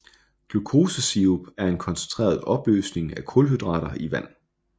Glukosesirup er en koncentreret opløsning af kulhydrater i vand